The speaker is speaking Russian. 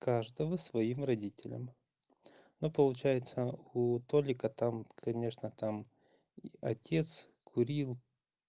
каждого своим родителям но получается у толика там конечно там отец курил